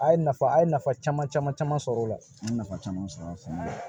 A ye nafa a ye nafa caman caman sɔrɔ o la an ye nafa caman sɔrɔ sɛnɛ na